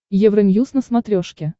евроньюз на смотрешке